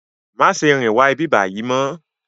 Má fè sè rin wá ibibàyi mò